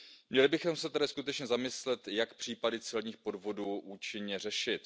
Měli bychom se tedy skutečně zamyslet, jak případy celních podvodů účinně řešit.